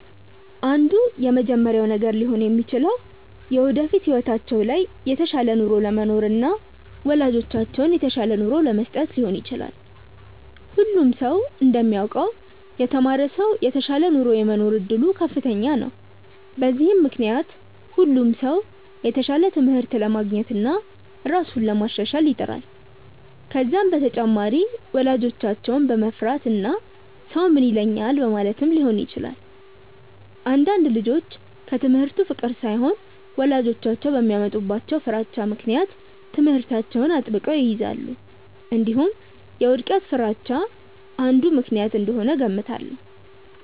አንዱ የመጀመሪያው ነገር ሊሆን የሚችለው የወደፊት ህይወታቸው ላይ የተሻለ ኑሮ ለመኖርና ወላጆቻቸውን የተሻለ ኑሮ ለመስጠት ሊሆን ይችላል። ሁሉም ሰው እንደሚያውቀው የተማረ ሰው የተሻለ ኑሮ የመኖር እድሉ ከፍተኛ ነው። በዚህም ምክንያት ሁሉም ሰው የተሻለ ትምህርት ለማግኘትና ራሱን ለማሻሻል ይጥራል። ከዛም በተጨማሪ ወላጆቻቸውን በመፍራትና ሰው ምን ይለኛል በማለትም ሊሆን ይችላል። አንዳንድ ልጆች ከትምህርቱ ፍቅር ሳይሆን ወላጆቻቸው በሚያመጡባቸው ፍራቻ ምክንያት ትምህርታቸውን አጥብቀው ይይዛሉ። እንዲሁም የውድቀት ፍርሃቻ አንዱ ምክንያት እንደሆነ እገምታለሁ።